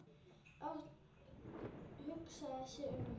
Örn hugsaði sig um.